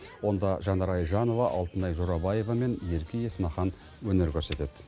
онда жанар айжанова алтынай жорабаева мен ерке есмахан өнер көрсетеді